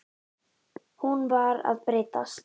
Hún var að breytast.